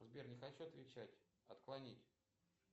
сбер не хочу отвечать отклонить